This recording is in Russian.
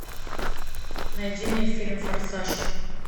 найди мне фильм форсаж